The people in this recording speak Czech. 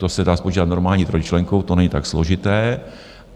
To se dá spočítat normální trojčlenkou, to není tak složité.